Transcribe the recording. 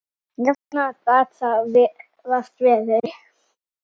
Jafnara gat það vart verið.